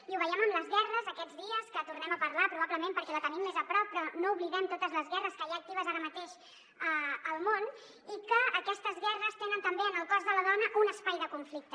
i ho veiem en les guerres aquests dies que en tornem a parlar probablement perquè la tenim més a prop però no oblidem totes les guerres que hi ha actives ara mateix al món i que aquestes guerres tenen també en el cos de la dona un espai de conflicte